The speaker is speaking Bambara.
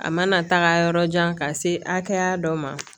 A mana taga yɔrɔ jan ka se hakɛya dɔ ma